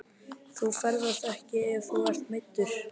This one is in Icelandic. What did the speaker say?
Þú ferðast ekki ef þú ert meiddur.